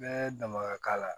Bɛɛ dama ka k'a la